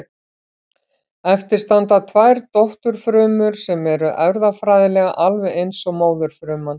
Eftir standa tvær dótturfrumur sem eru erfðafræðilega alveg eins og móðurfruman.